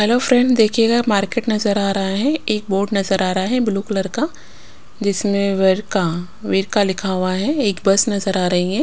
Hello friend देखिएगा market नज़र आ रहा है एक बोर्ड नज़र आ रहा है ब्लू कलर का जिसमें वरका वेरका लिखा हुआ है एक बस नज़र आ रही है।